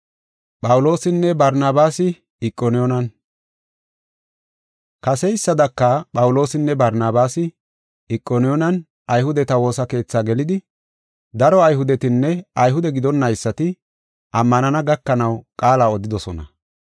Kaseysadaka, Phawuloosinne Barnabaasi Iqoniyoonen Ayhudeta woosa keethi gelidi daro Ayhudetinne Ayhude gidonnaysati ammanana gakanaw qaala odidosona.